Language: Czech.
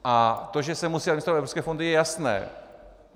A to, že se musí administrovat evropské fondy, je jasné.